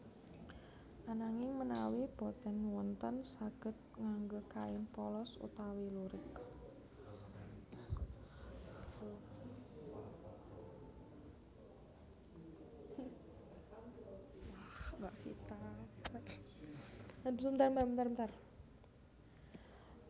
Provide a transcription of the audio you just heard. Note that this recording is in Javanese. Ananging menawi boten wonten saged ngangge kain polos utawi lurik